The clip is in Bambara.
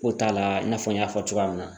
Ko t'a la i n'a fɔ n y'a fɔ cogoya min na